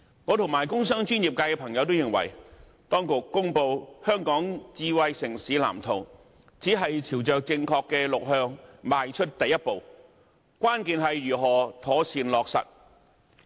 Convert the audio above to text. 我和工商專業界的朋友均認為，當局公布《藍圖》，只是朝着正確的方向邁出第一步，關鍵是如何妥善落實。